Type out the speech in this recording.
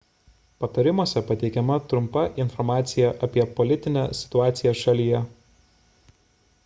patarimuose pateikiama trumpa informacija apie politinę situaciją šalyje